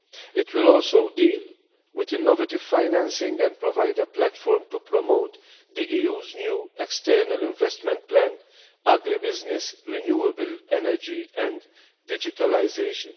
It will also deal with innovative financing and provide a platform to promote the EU's new external investment plan, agri business, renewable energy and digitalisation.